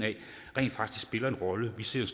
rent faktisk spiller en rolle vi ser et